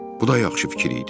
Bu da yaxşı fikir idi.